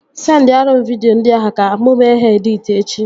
Sendiarụ m vidio ndị ahụ ka mụ mee ha editi echi